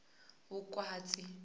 vukhwatsi